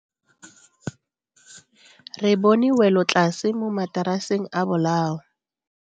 Re bone welotlase mo mataraseng a bolao.